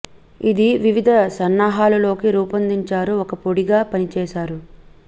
ఇది వివిధ సన్నాహాలు లోకి రూపొందించారు ఒక పొడి గా పనిచేశారు